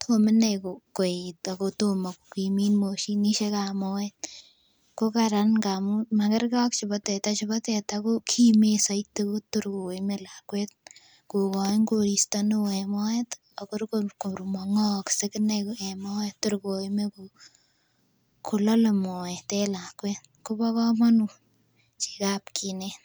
tomo inei koet ago tomo kogimit moshinishekab moet kokraran ngamun magerge ak chebo teta , chebo teta ko kimendaiti kotokor koime lakuet kokoin korista neoo en moet ih ako kor ko mang'akaei tor koime kolale maoet en lakuet ko ba kamanut chegab kinet.